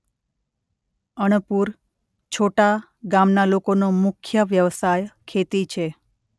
અણપુર છોટા ગામના લોકોનો મુખ્ય વ્યવસાય ખેતી છે.